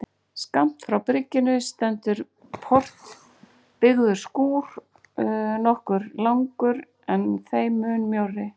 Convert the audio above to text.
Skammt frá bryggjunni stendur portbyggður skúr nokkuð langur, en þeim mun mjórri.